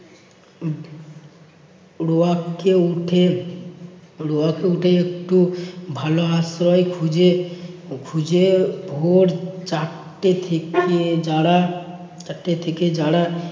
রুয়াককে উঠে~ রুয়াককে উঠে একটু ভালো আশ্রয় খুঁজে~ খুঁজে ভোর চারটে থেকে যারা~ চারটে থেকে যারা